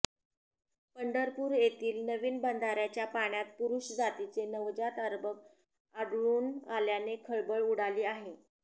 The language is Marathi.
पंढरपूर येथील नवीन बांधऱ्याच्या पाण्यात पुरुष जातीचे नवजात अर्भक आढळून आल्याने खळबळ उडाली आहे